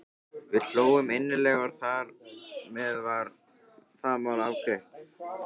Við hlógum innilega og þar með var það mál afgreitt.